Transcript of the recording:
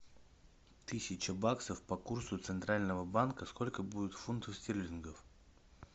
тысяча баксов по курсу центрального банка сколько будет фунтов стерлингов